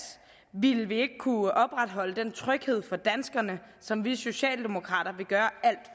ville vi ikke kunne opretholde den tryghed for danskerne som vi socialdemokrater vil gøre alt